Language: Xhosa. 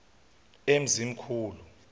emzimkhulu